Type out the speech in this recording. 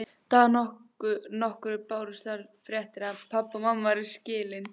Arndísi trúnað, jafnvel þótt mér sé fyrirmunað að skilja um hvað sá trúnaður snýst.